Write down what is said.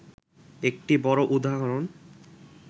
একটি বড় উদাহরণ